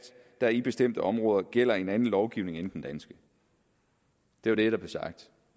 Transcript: der i bestemte områder gælder en anden lovgivning end den danske det var det der blev sagt